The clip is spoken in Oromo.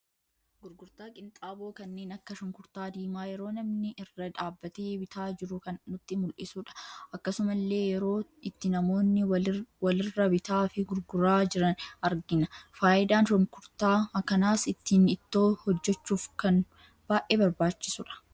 Gurgurtaa qinxaaboo kanneen akka shunkurtaa diimaa yeroo namni irra dhabbate bitaa jiru kan nutti muldhisudha. Akkasumalle yeroo itti namoonni walirra bitaa fi gurguraa jiran argina. Faayidaan shunkurta kanaas ittin ittoo hojjechuf kan baay'ee barbaachisudha.